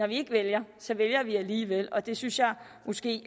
vi ikke vælger vælger vi alligevel og det synes jeg måske